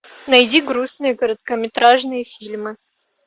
найди грустные короткометражные фильмы